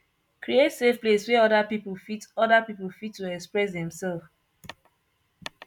create safe place wey oda pipo fit oda pipo fit to express dem self